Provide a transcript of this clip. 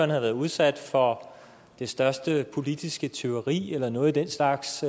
været udsat for det største politiske tyveri eller noget af den slags